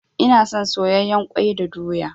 Ina son soyayyen kwai da doya.